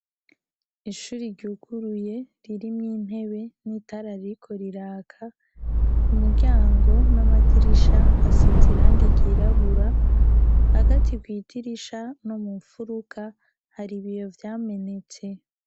Ishure ryuguruye ririmwo intebe nitara ririko riraka, kumuryango namadirisha hasize irangi ryirabura, hagati kwidirisha no mumfuruka hari ibiyo vyamenetse.